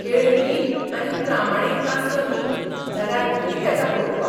खेळ लींप आनी प्रामाणीक नासलो न्ही, जाल्यार वीट येता पळोवपाक.